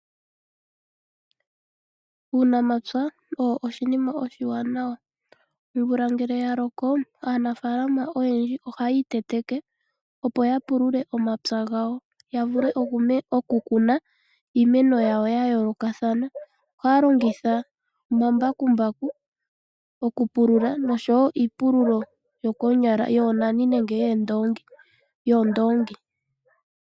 Uunamapya owo oshinima oshiwanawa, omvula ngele ya loko aanfaalama oyendji ohaya iteteke ya pulule omapya gawo ya vule oku kuna iimeno yawo ya yoolokathana. Ohaya longitha omambakumbaku oku pulula oshowo iipululo yoonani nenge yoondongi.